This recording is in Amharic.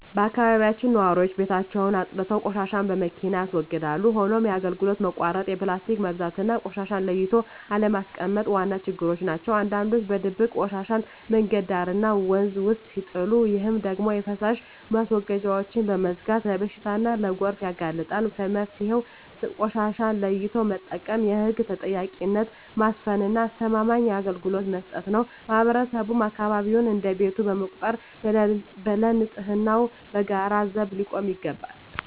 በአካባቢያችን ነዋሪዎች ቤታቸውን አፅድተው ቆሻሻን በመኪና ያስወግዳሉ። ሆኖም የአገልግሎት መቆራረጥ፣ የፕላስቲክ መብዛትና ቆሻሻን ለይቶ አለማስቀመጥ ዋና ችግሮች ናቸው። አንዳንዶች በድብቅ ቆሻሻን መንገድ ዳርና ወንዝ ውስጥ ሲጥሉ፣ ይህ ደግሞ የፍሳሽ ማስወገጃዎችን በመዝጋት ለበሽታና ለጎርፍ ያጋልጣል። መፍትሄው ቆሻሻን ለይቶ መጠቀም፣ የህግ ተጠያቂነትን ማስፈንና አስተማማኝ አገልግሎት መስጠት ነው። ማህበረሰቡም አካባቢውን እንደ ቤቱ በመቁጠር ለንፅህናው በጋራ ዘብ ሊቆም ይገባል።